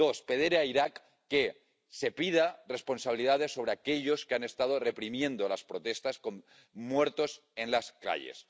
dos, pedir a Irak que se pidan responsabilidades a aquellos que han estado reprimiendo las protestas y provocado muertos en las calles